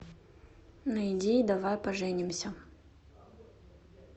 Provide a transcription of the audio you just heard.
найди давай поженимся